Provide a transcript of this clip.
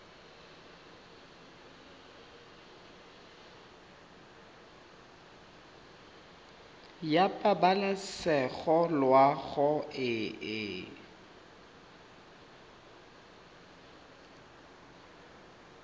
ya pabalesego loago e e